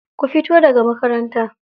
Ku fito daga makaranta.